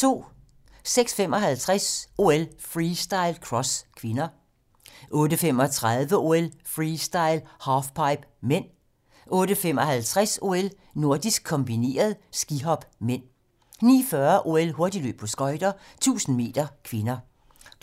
06:55: OL: Freestyle - cross (k) 08:35: OL: Freestyle - halfpipe (m) 08:55: OL: Nordisk kombineret - skihop (m) 09:40: OL: Hurtigløb på skøjter - 1000m (k)